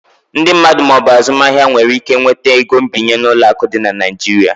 Ndị mmadụ ma ọ bụ azụmaahịa nwere ike nweta ego nbinye n'ụlọ akụ dị na Nigeria.